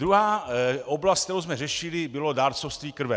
Druhá oblast, kterou jsme řešili, bylo dárcovství krve.